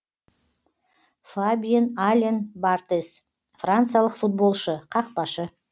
фабьен ален бартез франциялық футболшы қақпашы